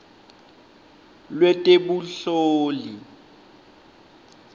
lwetebunhloli